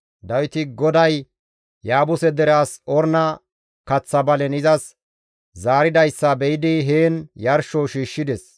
Dawiti GODAY Yaabuse dere as Orna kaththa balen izas zaaridayssa be7idi heen yarsho shiishshides.